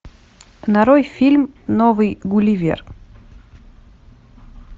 нарой фильм новый гулливер